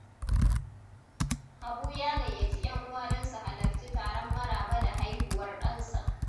Habu ya gayyaci ‘yan uwa don su halarci taron maraba da haihuwar ɗansa.